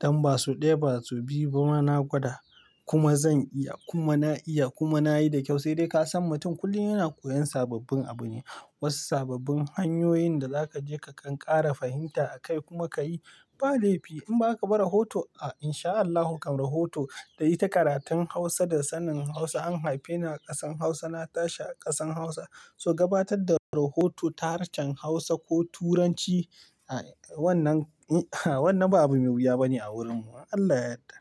Dan ba sau ɗaya, ba sau biyu ba, na gwada. Kuma zan iya, kuma na iya, kuma nayi da ƙyau. Saidai kasan mutum kullum yana koyon sababbin abune, wasu sababbin hanyoyin da zaka je ka kankare fahimta a kai kuma ka yi. Ba laifi in baka ba rahoto a in sha Allahu kan rahoto kayi ta karatun Hausa da sanin Hausa. An haife ni a ƙasar Hausa, na tashi a ƙasar Hausa, so gabatar da rahoto ta harshen Hausa ko Turanci. Wannan, wannan ba abu mai wuya bane a wurinmu. Allah ya yarda.